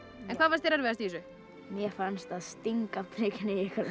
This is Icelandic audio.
en hvað fannst þér erfiðast í þessu mér fannst að stinga prikinu